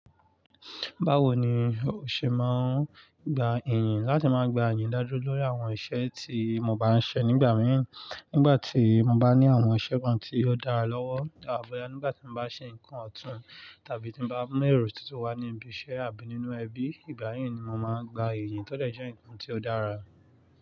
Báwo ni o ṣe máa ń gba ìyìn láti máa gba iyin dájọ́ lórí àwọn iṣẹ́ tí mo bá ń ṣe nígbà mìíràn, nígbà tí mo bá ní àwọn iṣẹ́ kan tí ó dára lọ́wọ́ bọ́yá nígbà tí mo bá ṣe nǹkan ọ̀tún tàbí tí mo bá mú èrò tuntun wá ní ibi iṣẹ́ àbí nínú ẹbí, ìbáyi ni mo máa ń gba ìyìn tó dè jẹ́ ǹkan tí ó dára.